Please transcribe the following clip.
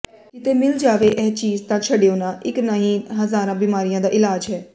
ਕਿਤੇ ਮਿਲ ਜਾਵੇ ਇਹ ਚੀਜ਼ ਤਾਂ ਛਡਿਓ ਨਾ ਇਕ ਨਹੀਂ ਹਜ਼ਾਰਾਂ ਬਿਮਾਰੀਆਂ ਦਾ ਇਲਾਜ਼ ਹੈ